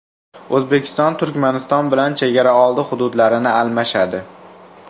O‘zbekiston Turkmaniston bilan chegaraoldi hududlarini almashadi.